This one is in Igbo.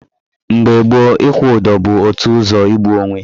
Mgbe gboo, ịkwụ ụdọ bụ otu ụzọ igbu onwe.